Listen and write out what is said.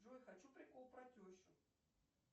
джой хочу прикол про тещу